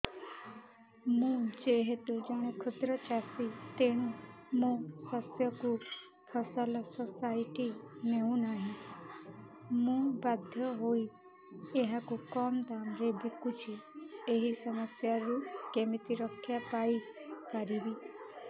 ମୁଁ ଯେହେତୁ ଜଣେ କ୍ଷୁଦ୍ର ଚାଷୀ ତେଣୁ ମୋ ଶସ୍ୟକୁ ଫସଲ ସୋସାଇଟି ନେଉ ନାହିଁ ମୁ ବାଧ୍ୟ ହୋଇ ଏହାକୁ କମ୍ ଦାମ୍ ରେ ବିକୁଛି ଏହି ସମସ୍ୟାରୁ କେମିତି ରକ୍ଷାପାଇ ପାରିବି